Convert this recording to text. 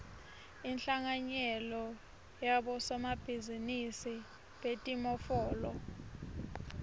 inhlanganyelo yabosomabhizinisi betimofolo